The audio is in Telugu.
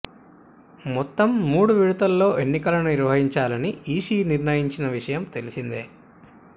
మొత్తం మూడు విడతల్లో ఎన్నికలను నిర్వహించాలని ఈసీ నిర్ణయించిన విషయం తెలిసిందే